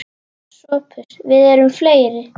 SOPHUS: Við erum fleiri.